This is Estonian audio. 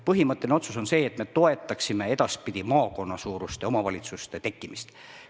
Põhimõtteline otsus on see, et me toetaksime edaspidi maakonnasuuruste omavalitsuste tekkimist.